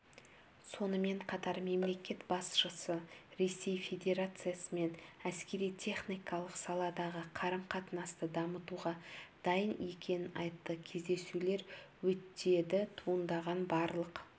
сонымен қатар мемлекет басшысы ресей федерациясымен әскери-техникалық саладағы қарым-қатынасты дамытуға дайын екенін айтты кездесулер өтеді туындаған барлық